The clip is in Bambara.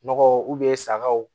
Nɔgɔ sagaw